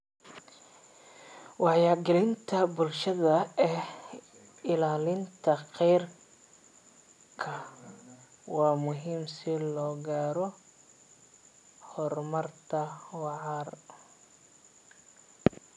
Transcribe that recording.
Wacyigelinta bulshada ee ilaalinta khayraadka waa muhiim si loo gaaro horumar waara.